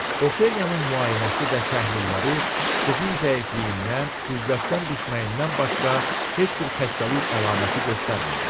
Ofeliyanın müayinəsi və təhlilləri qızın zəifliyindən, qüvvətdən düşməyindən başqa heç bir xəstəlik əlaməti göstərmədi.